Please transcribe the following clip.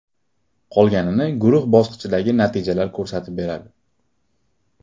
Qolganini guruh bosqichidagi natijalar ko‘rsatib beradi.